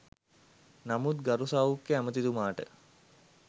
නමුත් ගරු සෞඛ්‍ය ඇමතිතුමාට